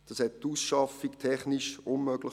Das machte die Ausschaffung technisch unmöglich.